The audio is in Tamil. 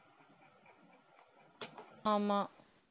ஆமா